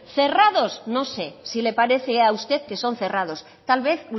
cerrados no sé si le parece a usted que son cerrados tal vez